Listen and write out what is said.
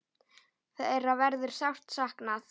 Þeirra verður sárt saknað.